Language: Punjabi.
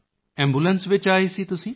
ਐਂਬੂਲੈਂਸ ਵਿੱਚ ਆਏ ਸੀ ਤੁਸੀਂ